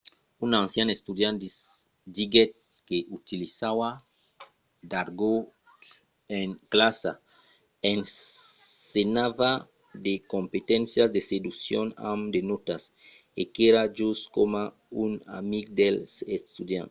un ancian estudiant diguèt que 'utilizava d’argòt en classa ensenhava de competéncias de seduccion amb de nòtas e qu’èra just coma un amic dels estudiants'